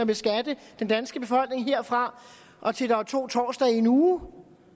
beskatte den danske befolkning herfra og til der er to torsdage i en uge